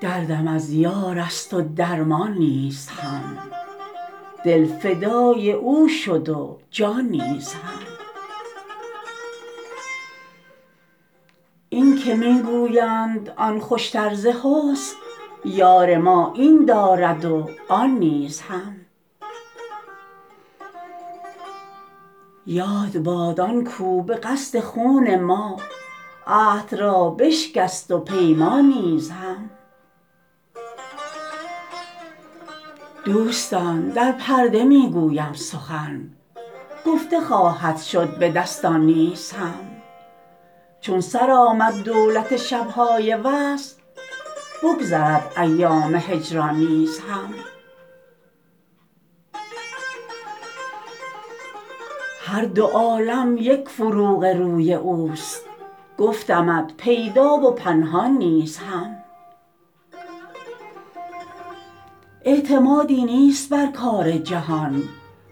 دردم از یار است و درمان نیز هم دل فدای او شد و جان نیز هم این که می گویند آن خوشتر ز حسن یار ما این دارد و آن نیز هم یاد باد آن کاو به قصد خون ما عهد را بشکست و پیمان نیز هم دوستان در پرده می گویم سخن گفته خواهد شد به دستان نیز هم چون سر آمد دولت شب های وصل بگذرد ایام هجران نیز هم هر دو عالم یک فروغ روی اوست گفتمت پیدا و پنهان نیز هم اعتمادی نیست بر کار جهان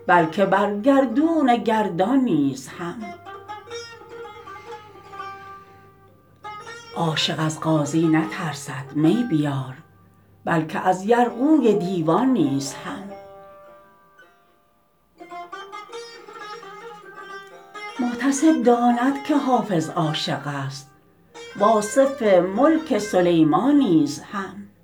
بلکه بر گردون گردان نیز هم عاشق از قاضی نترسد می بیار بلکه از یرغوی دیوان نیز هم محتسب داند که حافظ عاشق است و آصف ملک سلیمان نیز هم